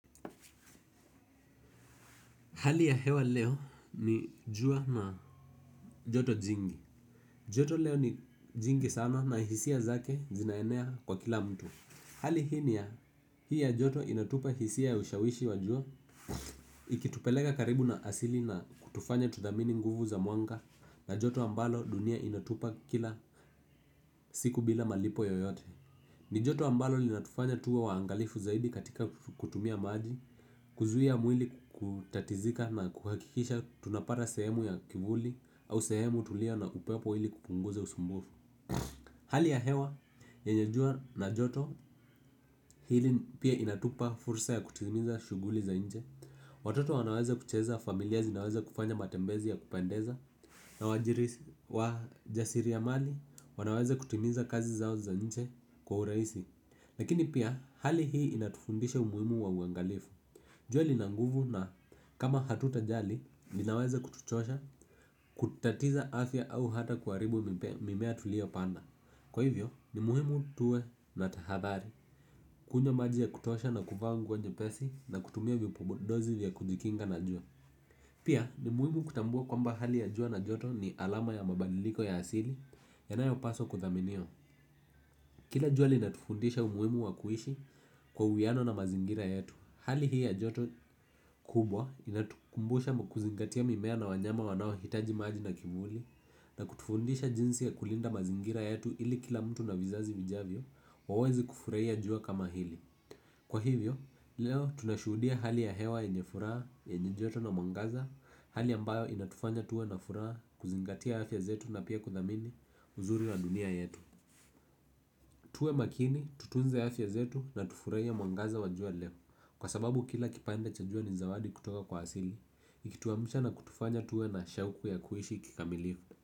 Hali ya hewa leo ni jua na joto jingi. Joto leo ni jingi sana na hisia zake zinaenea kwa kila mtu. Hali hii ni ya hii ya joto inatupa hisia ya ushawishi wa jua. Ikitupeleka karibu na asili na kutufanya tudhamini nguvu za mwanga. Na joto ambalo dunia inatupa kila siku bila malipo yoyote ni joto ambalo linatufanya tuwe waangalifu zaidi katika kutumia maji. Kuzuia mwili kutatizika na kuhakikisha tunapata sehemu ya kivuli au sehemu tulia na upepo ili kupunguza usumbufu. Hali ya hewa yenye jua na joto hili pia inatupa fursa ya kutimiza shughuli za nje. Watoto wanaweza kucheza familia zinaweza kufanya matembezi ya kupendeza. Na wajirisi wajasiriamali wanaweza kutimiza kazi zao za nje kwa urahisi. Lakini pia hali hii inatufundisha umuhimu wa uangalifu. Jua lina nguvu na kama hatutajali, linaweza kutuchosha, kutatiza afya au hata kuharibu mimea tuliyo panda. Kwa hivyo, ni muhimu tuwe na tahadhari, kunywa maji ya kutosha na kuvaa nguo nyepesi na kutumia vipodozi vya kujikinga na jua. Pia ni muhimu kutambua kwamba hali ya jua na joto ni alama ya mabadiliko ya asili yanayopaswa kudhaminiwa. Kila jua linatufundisha umuhimu wa kuishi kwa uwiano na mazingira yetu. Hali hii ya joto kubwa inatukumbusha kuzingatia mimea na wanyama wanaohitaji maji na kivuli na kutufundisha jinsi ya kulinda mazingira yetu ili kila mtu na vizazi vijavyo waweze kufurahia jua kama hili. Kwa hivyo, leo tunashuhudia hali ya hewa yenye furaha, yenye joto na mwangaza, hali ambayo inatufanya tuwe na furaha kuzingatia afya zetu na pia kuthamini uzuri na dunia yetu. Tuwe makini tutunze afya zetu na tufurahie mwangaza wa jua leo kwa sababu kila kipande cha jua ni zawadi kutoka kwa asili ikituamsha na kutufanya tuwe na shauku ya kuishi kikamilifu.